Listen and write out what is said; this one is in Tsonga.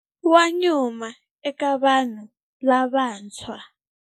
Wa nyuma eka vanhu lavantshwa.